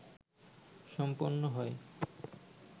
সম্পন্ন হয়